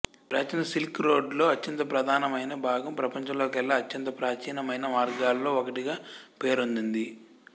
ప్రాచీన సిల్క్ రోడ్డులో అత్యంత ప్రధానమైన భాగం ప్రపంచంలోకెల్లా అత్యంత ప్రాచీనమైన మార్గాల్లో ఒకటిగా పేరొందింది